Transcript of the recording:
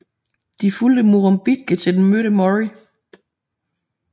De fulgte Murrumbidgee til den mødte Murray